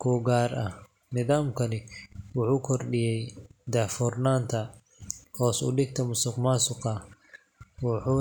kuu gaar ah. Nidaamkani wuxuu kordhiyay daahfurnaanta, hoos u dhigay musuqmaasuqa, wuxuuna.